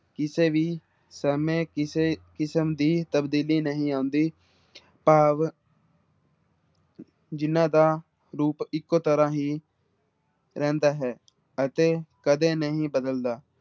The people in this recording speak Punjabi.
ਕਿਸੇ ਵੀ ਸਮੇਂ ਕਿਸੇ ਕਿਸਮ ਦੀ ਤਬਦੀਲੀ ਨਹੀਂ ਆਉਂਦੀ ਭਾਵ ਜਿਹਨਾਂ ਦਾ ਰੂਪ ਇੱਕੋ ਤਰ੍ਹਾਂ ਹੀ ਰਹਿੰਦਾ ਹੈ, ਅਤੇ ਕਦੇ ਨਹੀਂ ਬਦਲਦਾ